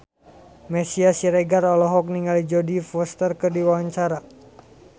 Meisya Siregar olohok ningali Jodie Foster keur diwawancara